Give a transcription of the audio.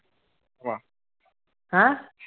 ਹੈਂ